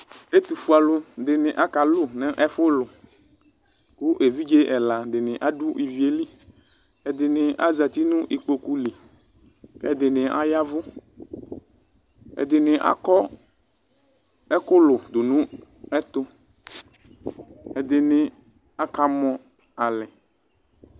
Ɛtufue alʋ dini aka lʋ nʋ ɛfʋlʋ kʋ evidze ɛla adʋ ɛfʋlu ivie li ɛdini azati nʋ ikpokʋli kʋ ɛdini aya ɛvʋ ɛdini akɔ ɛkʋkʋ dʋnʋ ɛtʋ ɛdini akamɔ nʋ alɛ